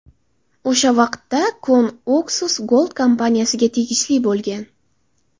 O‘sha vaqtda kon Oxus Gold kompaniyasiga tegishli bo‘lgan.